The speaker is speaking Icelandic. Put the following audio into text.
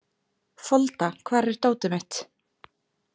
Folda, hvar er dótið mitt?